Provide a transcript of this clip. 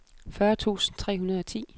fyrre tusind tre hundrede og ti